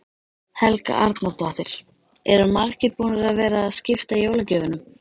Helga Arnardóttir: Eru margir búnir að vera að skipta jólagjöfunum?